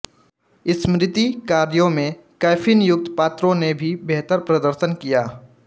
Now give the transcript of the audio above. स्मृति कार्यों में कैफीनयुक्त पात्रों ने भी बेहतर प्रदर्शन किया